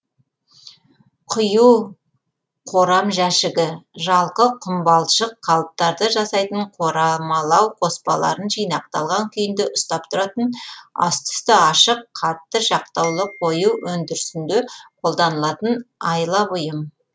құю қорамжәшігі жалқы құмбалшық қалыптарды жасайтын қорамалау қоспаларын жинақталған күйінде ұстап тұратын асты үсті ашық қатты жақтаулы құю өндірісінде қолданылатын айлабұйым